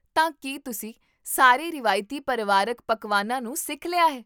ਤਾਂ ਕੀ ਤੁਸੀਂ ਸਾਰੇ ਰਵਾਇਤੀ ਪਰਿਵਾਰਕ ਪਕਵਾਨਾਂ ਨੂੰ ਸਿੱਖ ਲਿਆ ਹੈ?